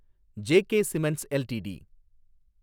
J K cements LTD